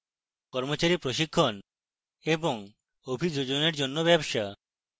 কর্মচারী প্রশিক্ষণ এবং অভিযোজনের জন্য ব্যবসা